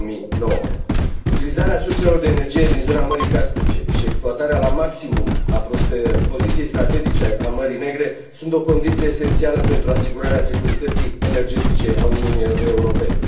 2009. Utilizarea surselor de energie din zona Mării Caspice și exploatarea la maximum a poziției strategice a Mării Negre sunt o condiție esențială pentru asigurarea securității energetice a Uniunii Europene.